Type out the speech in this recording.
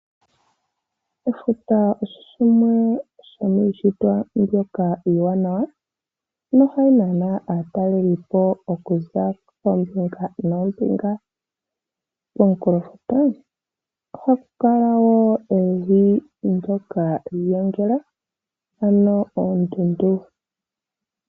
Efuta osho shimwe shomiishitwa mbyoka iiwanawa na ohayi nana aataleli po okuza koombinga noombinga. Komukulofuta ohakukala wo evi ndoka lyiigongela, ano oondundu.